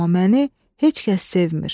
Amma məni heç kəs sevmir.